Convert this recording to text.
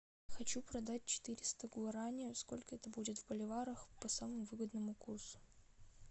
хочу продать четыреста гуарани сколько это будет в боливарах по самому выгодному курсу